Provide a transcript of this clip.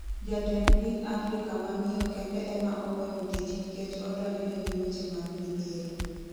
Jatend piny Afrika ma miyo kende ema oweyo tich nikech odonjne gi weche mag midhiero